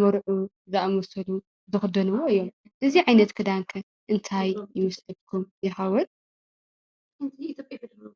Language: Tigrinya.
መርዑት ዘኣመሰሉ ዝኽደንዎ እዩ። እዚ ዓይነት ክዳን ከ እንታይ ይመስለኩም ይኸውን ?